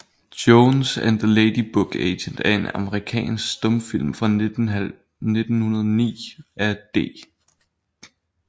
Jones and the Lady Book Agent er en amerikansk stumfilm fra 1909 af D